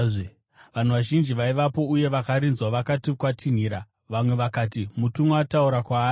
Vanhu vazhinji vaivapo uye vakarinzwa vakati kwatinhira; vamwe vakati mutumwa ataura kwaari.